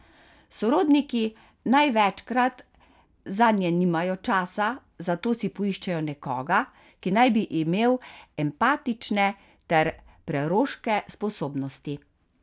Sorodniki največkrat zanje nimajo časa, zato si poiščejo nekoga, ki naj bi imel empatične ter preroške sposobnosti.